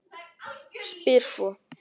Spyr svo